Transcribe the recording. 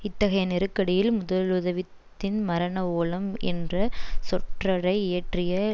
இத்தகைய நெருக்கடியில் முதலுதவித்தின் மரண ஓலம் என்ற சொற்றொடை இயற்றிய